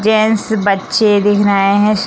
gents बच्चे दिख रहे हैं स --